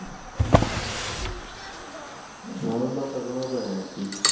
মানুষ বাচার কোনো উপায় নাই আরকি